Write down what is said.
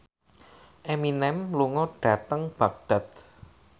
Eminem lunga dhateng Baghdad